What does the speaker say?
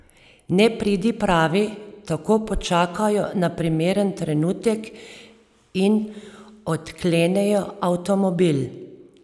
Nepridipravi tako počakajo na primeren trenutek in odklenejo avtomobil.